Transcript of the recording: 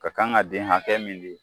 Ka kan ka den hakɛ min di